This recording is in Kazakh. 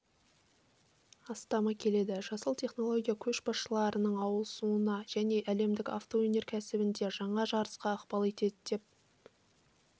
астамы келеді жасыл технология көшбасшылардың ауысуына және әлемдік авто өнеркәсібінде жаңа жарысқа ықпал етеді деп